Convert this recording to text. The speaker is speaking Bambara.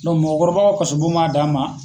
mɔgɔkɔrɔbaw ka kaso bon b'a dan ma.